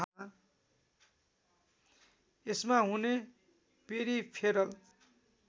यसमा हुने पेरिफेरल